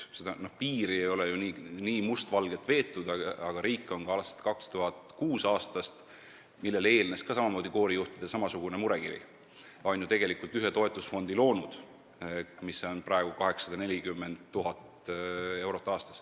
Seda piiri ei ole ju nii mustvalgelt veetud, aga riik on alates 2006. aastast, millele eelnes samamoodi koorijuhtide samasugune murekiri, ju ühe toetusfondi loonud, selle maht on praegu 840 000 eurot aastas.